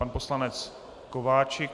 Pan poslanec Kováčik.